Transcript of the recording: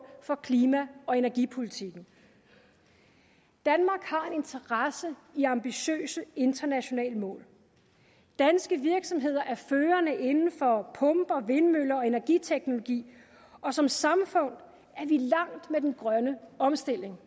for klima og energipolitikken danmark har interesse i ambitiøse internationale mål danske virksomheder er førende inden for pumper vindmøller og energiteknologi og som samfund er vi langt med den grønne omstilling